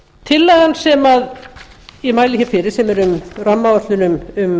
tillagan sem ég mæli fyrir sem er um